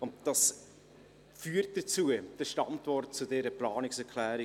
Damit kommen wir zur Antwort auf diese Planungserklärung: